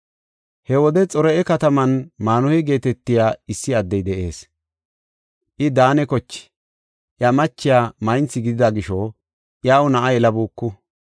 He wode Xor7a kataman Maanuhe geetetiya issi addey de7ees. I Daane koche; iya machiya maynthi gidida gisho iyaw na7a yelabuuku.